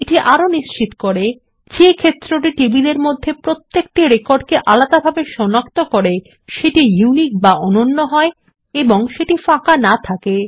এটি আরো নিশ্চিত করে যে যে ক্ষেত্রটি টেবিলের মধ্যে প্রত্যেকটি রেকর্ডকে আলাদাভাবে সনাক্ত করে সেটি ইউনিক বা অনন্য হয় এবং সেটি ফাঁকা না থাকে